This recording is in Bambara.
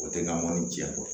O tɛ na mɔni diɲɛ kɔ